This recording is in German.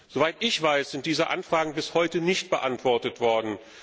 Soweit ich weiß, sind diese Anfragen bis heute nicht beantwortet worden.